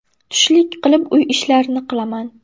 Tushlik qilib, uy ishlarini qilaman.